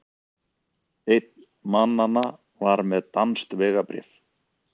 Einn mannanna var með danskt vegabréf